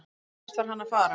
Hvert var hann að fara?